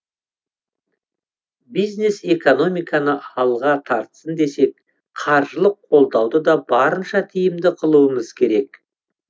бизнес экономиканы алға тартсын десек қаржылық қолдауды да барынша тиімді қылуымыз керек